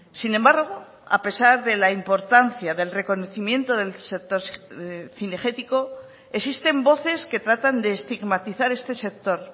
sin embargo a pesar de la importancia del reconocimiento del sector cinegético existen voces que tratan de estigmatizar este sector